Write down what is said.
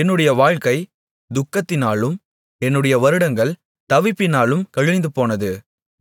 என்னுடைய வாழ்க்கை துக்கத்தினாலும் என்னுடைய வருடங்கள் தவிப்பினாலும் கழிந்துபோனது